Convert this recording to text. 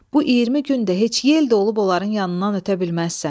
Bu iyirmi gün də heç yel də olub onların yanından ötə bilməzsən.